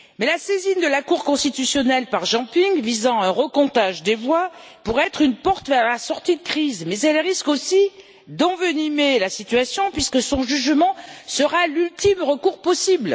La saisine de la Cour constitutionnelle par Jean Ping visant un recomptage des voix pourrait être une porte vers la sortie de crise, mais elle risque aussi d'envenimer la situation puisque son jugement sera l'ultime recours possible.